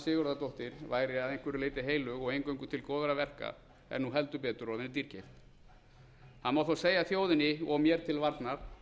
sigurðardóttir væri að einhverju leyti heilög og eingöngu til góðra verka er nú heldur betur orðin dýrkeypt það má þó segja þjóðinni og mér til varnar